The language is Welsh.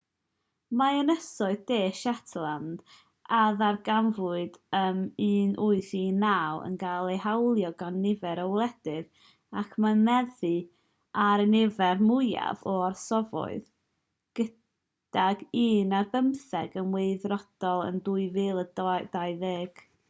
mae ynysoedd de shetland a ddarganfuwyd ym 1819 yn cael eu hawlio gan nifer o wledydd ac mae'n meddu ar y nifer fwyaf o orsafoedd gydag un ar bymtheg yn weithredol yn 2020